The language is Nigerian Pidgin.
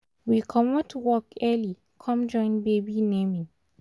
we commot work early com joinbaby naming